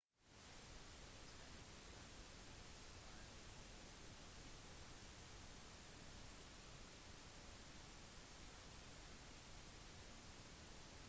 restene produserte regnskyll over de fleste øyene men ennå har det ikke blitt rapportert om skader eller flom